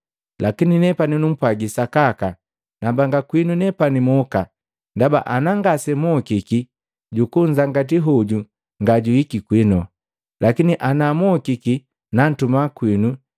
Lakini nepani numpwagi sakaka, nambanga kwinu nepani moka, ndaba anangasemokiki Jukujangatii hoju ngajwiiki kwino. Lakini anamokiki namtuma kwinu.